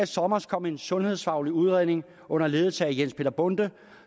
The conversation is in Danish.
sommer kom en sundhedsfaglig udredning under ledelse af jens peter bonde